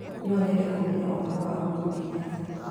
no nyende kũmenya ũhoro wa uhuru kenyatta